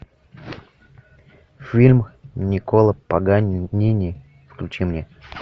фильм никколо паганини включи мне